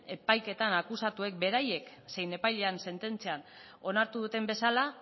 epaiketan akusatuek beraiek zein epailean sententziak onartu duten bezala